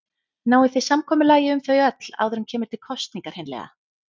Náið þið samkomulagi um þau öll áður en kemur til kosninga hreinlega?